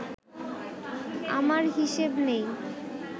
আমার হিসেব নেই